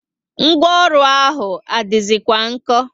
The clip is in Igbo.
Ngwaọrụ ahụ adizi kwa nko?